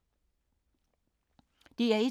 DR1